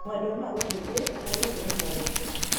Mwendwa no agũteithie harĩ gũkũria taranda ciaku.